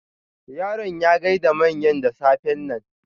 Yaron ya gaida manyan da safen nan.